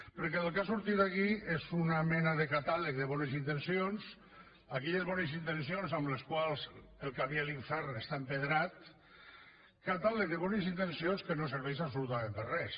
perquè el que ha sortit aquí és una mena de catàleg de bones intencions d’aquelles bones intencions de les quals el camí a l’infern està empedrat catàleg de bones intencions que no serveix absolutament per a res